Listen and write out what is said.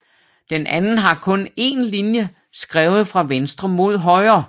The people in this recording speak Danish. Den anden har kun én linje skrevet fra venstre mod højre